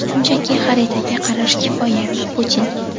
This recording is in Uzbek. shunchaki xaritaga qarash kifoya – Putin.